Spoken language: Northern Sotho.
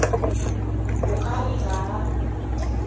o ka re ga a